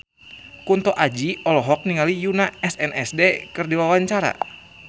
Kunto Aji olohok ningali Yoona SNSD keur diwawancara